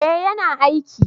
eh ya na aiki